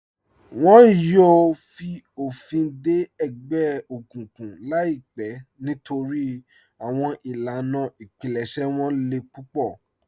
Wọn yòò fi ofin dẹ ẹgbẹ okuǹkuǹ laipẹ nítorí awọn ilànà ìpílẹ̀ṣẹ̀ wọn lè púpọ̀.